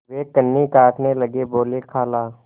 वे कन्नी काटने लगे बोलेखाला